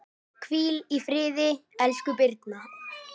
Hvíl í friði, elsku Birna.